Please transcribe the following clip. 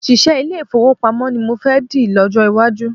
Òṣìṣẹ́ ilé-ìfowópamọ́ ni mo fẹ́ dì lọ́jọ́ iwájú